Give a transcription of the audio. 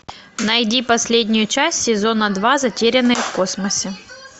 найди последнюю часть сезона два затерянные в космосе